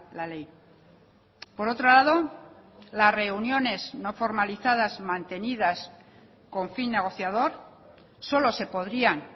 la ley por otro lado las reuniones no formalizadas mantenidas con fin negociador solo se podrían